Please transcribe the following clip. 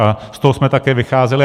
A z toho jsme také vycházeli.